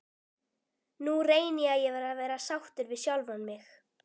Nú reyni ég að vera sáttur við sjálfan mig.